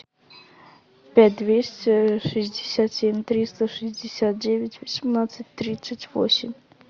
пять двести шестьдесят семь триста шестьдесят девять восемнадцать тридцать восемь